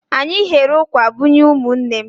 Anyị ghere ụkwà bunye ụmụnne m.